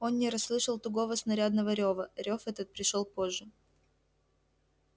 он не расслышал тугого снарядного рёва рёв этот пришёл позже